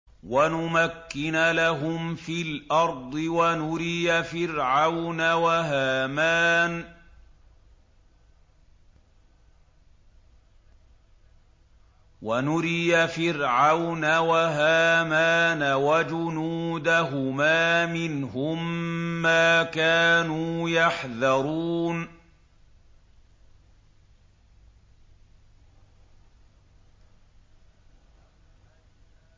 وَنُمَكِّنَ لَهُمْ فِي الْأَرْضِ وَنُرِيَ فِرْعَوْنَ وَهَامَانَ وَجُنُودَهُمَا مِنْهُم مَّا كَانُوا يَحْذَرُونَ